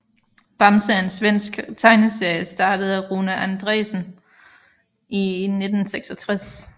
Bamse er en svensk tegneserie startet af Rune Andréasson i 1966